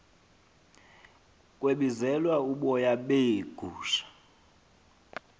kwebizelwa uboya beegu